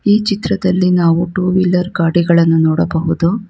ಈ ಚಿತ್ರದಲ್ಲಿ ನಾವು ಟು ವೀಲರ್ ಗಾಡಿಗಳನ್ನು ನೋಡಬಹುದು.